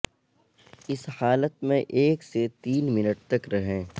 اس حالت میں ایک سے تین منٹ تک رہیں